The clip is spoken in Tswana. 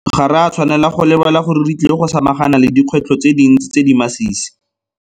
Le fa go le jalo, ga re a tshwanela go lebala gore re tlile go samagana le dikgwetlho tse dintsi tse di masisi.